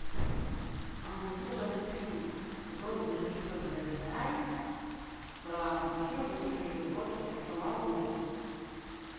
найди пожалуйста фильм вроде бы режиссер гайдай про мужчину который ездил в отпуск и сломал руку